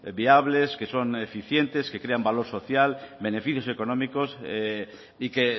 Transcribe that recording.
viables que son eficientes que crean valor social beneficios económicas y que